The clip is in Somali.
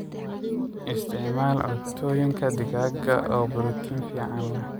Isticmaal cuntooyinka digaag oo borotiin fican leeh.